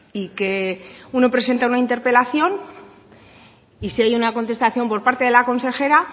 y que uno presenta una interpelación y si hay una contestación por parte de la consejera